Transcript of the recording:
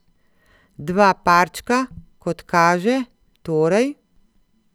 Dva parčka, kot kaže, torej ...